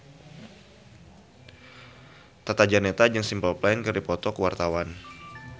Tata Janeta jeung Simple Plan keur dipoto ku wartawan